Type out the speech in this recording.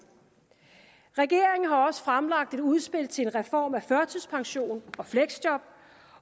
regeringen har også fremlagt et udspil til en reform af førtidspension og fleksjob